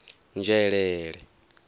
nzhelele